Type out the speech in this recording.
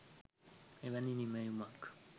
එවැනි නිමැවුමක්